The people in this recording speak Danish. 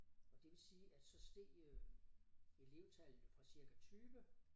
Og det vil sige at så steg øh elevtallene fra cirka 20